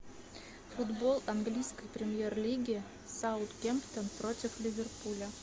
футбол английской премьер лиги саутгемптон против ливерпуля